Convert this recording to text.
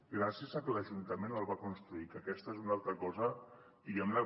gràcies a que l’ajuntament el va construir que aquesta és una altra cosa diguem·ne